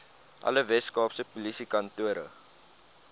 alle weskaapse polisiekantore